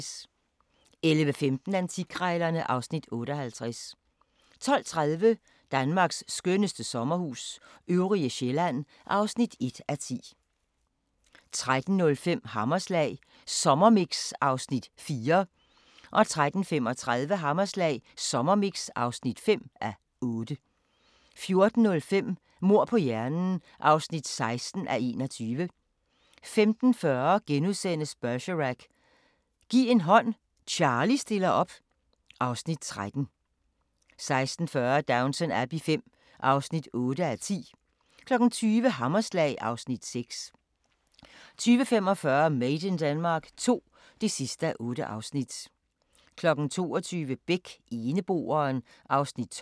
11:15: Antikkrejlerne (Afs. 58) 12:30: Danmarks skønneste sommerhus – Øvrige Sjællland (1:10) 13:05: Hammerslag Sommermix (4:8) 13:35: Hammerslag Sommermix (5:8) 14:05: Mord på hjernen (16:21) 15:40: Bergerac: Giv en hånd, Charlie stiller op (Afs. 13)* 16:40: Downton Abbey V (8:10) 20:00: Hammerslag (Afs. 6) 20:45: Made in Denmark II (8:8) 22:00: Beck: Eneboeren (Afs. 12)